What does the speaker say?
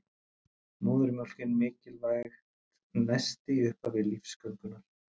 Móðurmjólkin mikilvægt nesti í upphafi lífsgöngunnar